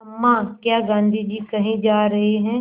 अम्मा क्या गाँधी जी कहीं जा रहे हैं